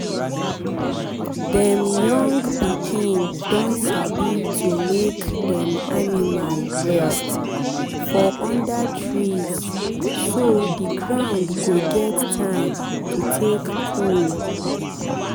dem young pikin don sabi to make dem animal rest for under treeso the ground go get time take cool.